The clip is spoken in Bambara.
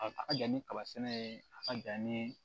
A a ka jan ni kaba sɛnɛ ye a ka jan nii